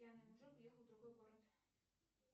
пьяный мужик уехал в другой город